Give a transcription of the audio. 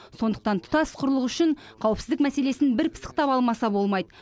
сондықтан тұтас құрлық үшін қауіпсіздік мәселесін бір пысықтап алмаса болмайды